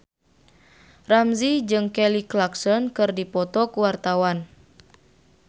Ramzy jeung Kelly Clarkson keur dipoto ku wartawan